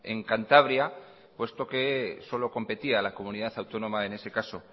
en cantabria puesto que solo competía a la comunidad autónoma en ese caso